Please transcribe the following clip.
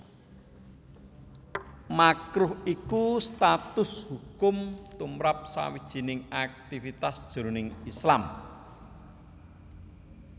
Makruh iku status hukum tumrap sawijining aktivitas jroning Islam